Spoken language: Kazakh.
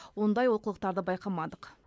ондай олқылықтарды байқамадық